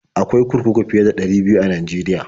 Akwai kurkuku fiye da ɗari biyu a Najeriya.